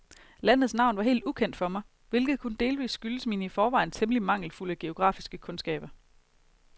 Landets navn var helt ukendt for mig, hvilket kun delvist skyldtes mine i forvejen temmelig mangelfulde geografiske kundskaber.